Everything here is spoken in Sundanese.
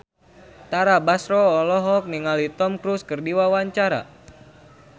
Tara Basro olohok ningali Tom Cruise keur diwawancara